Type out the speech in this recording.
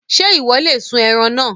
Ṣé Ìwọ́ lè sun ẹran náà?